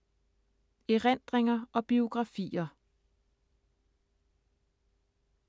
Erindringer og biografier